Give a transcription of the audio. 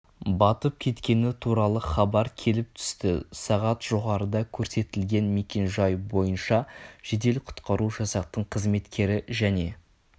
батып кеткені туралы хабар келіп түсті сағат жоғарыда көрсетілген мекен-жай бойынша жедел-құтқару жасақтың қызметкері және